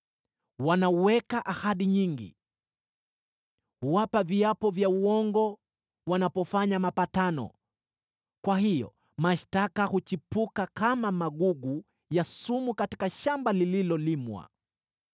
Wanaweka ahadi nyingi, huapa viapo vya uongo wanapofanya mapatano; kwa hiyo mashtaka huchipuka kama magugu ya sumu katika shamba lililolimwa.